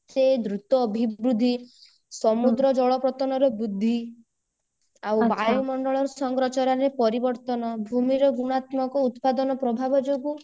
ଏତେ ଦ୍ରୁତ ଅଭିବୃଦ୍ଧି ସମୁଦ୍ର ଜଳପତନର ବୃଦ୍ଧି ଆଉ ବାୟୁ ମଣ୍ଡଳର ସଂଗ୍ରାଚରରେ ପରିବର୍ତ୍ତନ ଭୂମିର ଭୃଣାତ୍ମକ ଉତ୍ପାଦନ ପ୍ରଭାବ ଯୋଗୁ